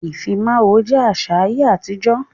Ifímáwó jẹ àṣà ayé àtijọ́.